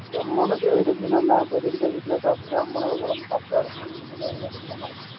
எம்மனுக்கு தெரிஞ்சு நல்ல இப்ப vegetables லாம் சாபுட்ற அம்மனுக்கு உடம்பு correct ஆ இருக்கும் நோய்நொடி இல்லாம இருக்குலாம்